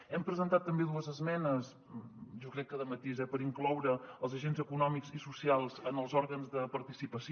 hem presentat també dues esmenes jo crec que de matís eh per incloure els agents econòmics i socials en els òrgans de participació